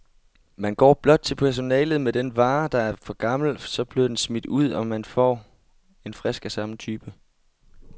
Man går blot til personalet med den vare, der er for gammel, så bliver den smidt ud, og man får en frisk af samme type.